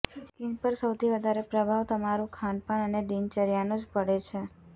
skin પર સૌથી વધારે પ્રભાવ તમારું ખાનપાન અને દિનચર્યાનો જ પડે છે